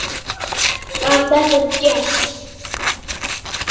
Var þetta djass?